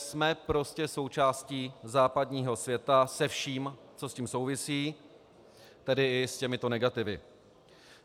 Jsme prostě součástí západního světa se vším, co s tím souvisí, tedy i s těmito negativy.